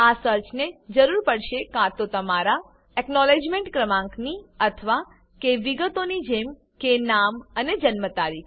આ સર્ચને જરૂર પડશે કાં તો તમારા એકનોલેજમેંટ ક્રમાંકની અથવા કે વિગતોની જેમ કે નામ અને જન્મ તારીખ